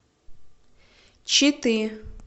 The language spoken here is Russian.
читы